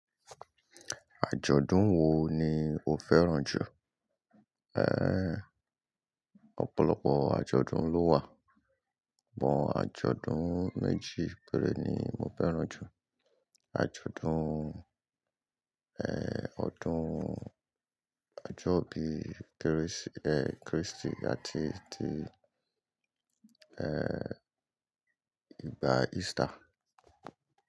Ajọ̀dún wo ni o fẹ́ràn jù? Ẹ Ọ̀pọ̀lọpọ̀ àjọ̀dún ló wà, bọ àjọ̀dún méjì péré ni mo fẹ́ràn jù, àjọ̀dún ẹ̀ ọdún àjọ́ bíi kérésì e kristi àti ti ẹ igba Easter.